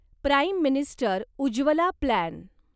prime minister Ujjwala plan